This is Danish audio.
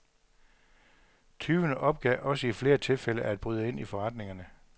Tyvene opgav også i flere tilfælde at bryde ind i forretningerne.